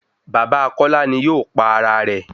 Bàbá Kọ́lá ni yóò pa ara rẹ̀